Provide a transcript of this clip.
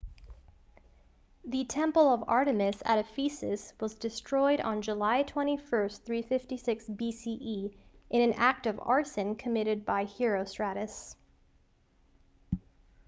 the temple of artemis at ephesus was destroyed on july 21 356 bce in an act of arson committed by herostratus